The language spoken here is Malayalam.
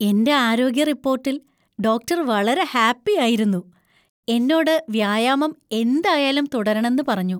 എന്‍റെ ആരോഗ്യ റിപ്പോട്ടിൽ ഡോക്ടർ വളരെ ഹാപ്പി ആയിരുന്നു, എന്നോട് വ്യായാമം എന്തായാലും തുടരണെന്ന് പറഞ്ഞു.